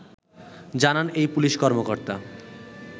জানান এই পুলিশ কর্মকর্তা